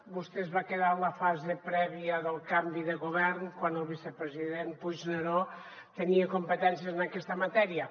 vostè es va quedar en la fase prèvia del canvi de govern quan el vicepresident puigneró tenia competències en aquesta matèria